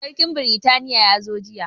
Sarkin britaniya ya zo jiya